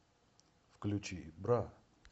включи бра